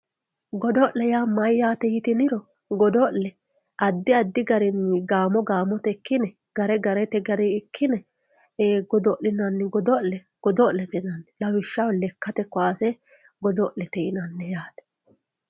Godo'lete yaa mayyate yitiniro godo'le addi addi garini gaamotenni ikkine gare garete ikkine godo'linanni godo'le godo'lete yinanni lawishshaho lekkate kowaase godo'lete yinanni yaate.